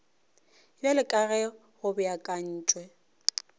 bjalo ka ge go beakantšwe